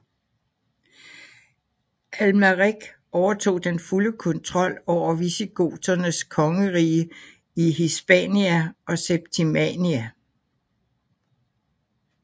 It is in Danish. Amalrik overtog den fulde kontrol over visigoternes kongedømme i Hispania og Septimania